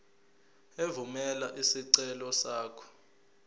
evumela isicelo sakho